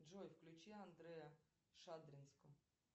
джой включи андрей шадринск